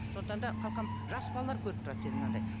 сондықтан да қалқам жас балалар көріп тұрады сені мынандай